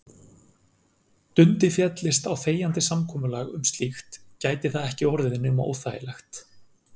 Dundi féllist á þegjandi samkomulag um slíkt gæti það ekki orðið nema óþægilegt.